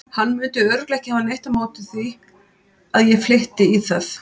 Hann mundi örugglega ekki hafa neitt á móti því að ég flytti í það.